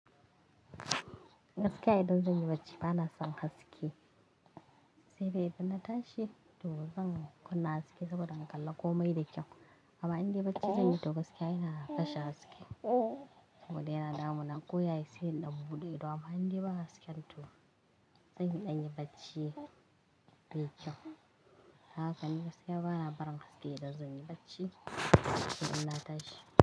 Gaskiya idan zan yi bacci bana son haske. Sai dai ina tashi to zan kunna haske saboda in kalli komai da kyau. Amma in dai bacci zan yi to gaskiya ina kashe haske. Saboda yana damuna koya yake sai inɗan buɗe ido. Amma in dai ba haske to zan iya yin bacci mai kyau. Haka ne gaskiya bana barin haske idan zan yi bacci sai dai ina tashi.